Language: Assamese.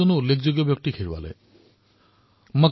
১৯ ডিচেম্বৰ তাৰিখে ডাক্টৰ জয়াচন্দ্ৰণৰ দেহাৱসান হল